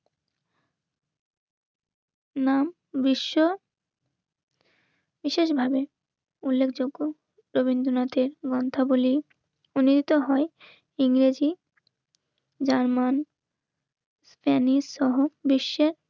নাম বিশ্ব. বিশেষভাবে উল্লেখযোগ্য. রবীন্দ্রনাথের মন্ত্রাবলিতে হয়. ইংরেজি জার্মান স্পেনিসহ বিশ্বের